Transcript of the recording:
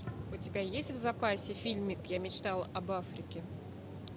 у тебя есть в запасе фильмик я мечтал об африке